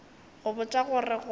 go botša go re go